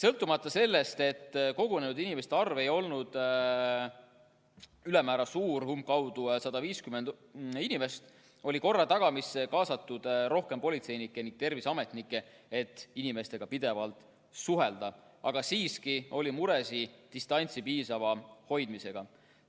Kuigi kogunenud inimeste arv ei olnud ülemäära suur –umbkaudu 150 inimest –, oli korra tagamisse kaasatud rohkem politseinikke ning terviseametnikke, et inimestega pidevalt suhelda, aga siiski oli muresid distantsi piisava hoidmisega.